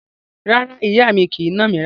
Rárá, ìyá mi kì í nà mí rárá.